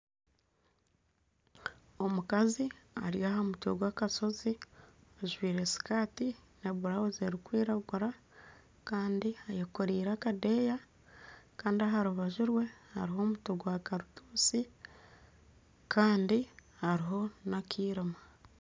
Omukazi ari aha mutwe gw'akashozi ajwire sikaati na burawuzi erikwiragura kandi yekooreire akadeeya kandi aha rubaju rwe hariho omuti gwa karutuusi kandi hariho n'akairima